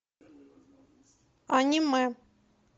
аниме